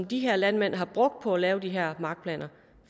de her landmænd har brugt og at lave de her markplaner